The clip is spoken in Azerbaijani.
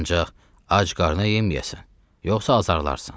Ancaq ac qarına yeməyəsən, yoxsa azarlarsan.